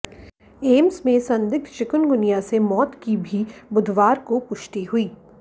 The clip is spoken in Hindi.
एम्स में संदिग्ध चिकनगुनिया से मौत की भी बुधवार को पुष्टि हुई